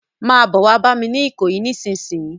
Má bò wá bàmi ni Ikoyi nisinsin